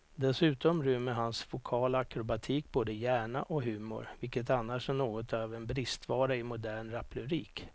Dessutom rymmer hans vokala akrobatik både hjärna och humor, vilket annars är något av en bristvara i modern raplyrik.